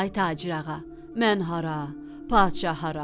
Ay tacirağa, mən hara, padşah hara?